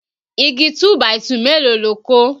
Igi 2 by 2 mélòó lo kó?